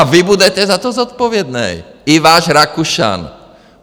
A vy budete za to zodpovědný, i váš Rakušan.